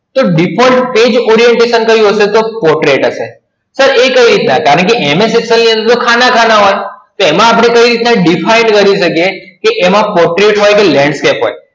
કે Default Page Orientation ક્યુ હશે? તો Portrait હશે. Sir એ કઈ રીતના? કારણકે MS Excel ની અંદર ખાના ખાના હોય, તો એમાં આપણે કઈ રીતના Define કરી શકીએ કે એમાં Portrait હોય કે Landscape હોય